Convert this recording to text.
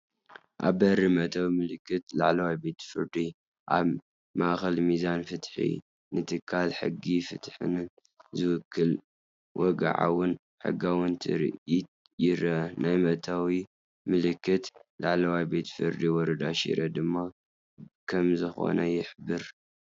ኣብ በሪ መእተዊ ምልክት ላዕለዋይ ቤት ፍርዲ፣ ኣብ ማእከል ሚዛን ፍትሒ። ንትካል ሕግን ፍትሕን ዝውክል ወግዓውን ሕጋውን ትርኢት ይረአ። ናይ መእተዊ ምልክት ላዕለዋይ ቤት ፍርዲ ወረዳ ሽረ ድማ ከምዝኾነ ይሕብር።